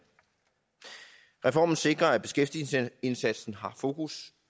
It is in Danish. reformen sikrer at beskæftigelsesindsatsen har fokus